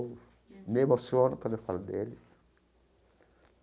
Me emociono quando eu falo dele.